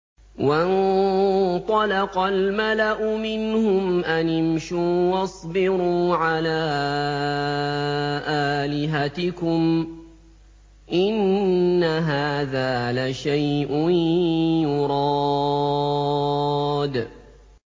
وَانطَلَقَ الْمَلَأُ مِنْهُمْ أَنِ امْشُوا وَاصْبِرُوا عَلَىٰ آلِهَتِكُمْ ۖ إِنَّ هَٰذَا لَشَيْءٌ يُرَادُ